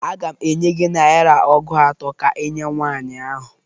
Aga m enye gị naịra ọgụ atọ ka inye nwaanyị ahụ.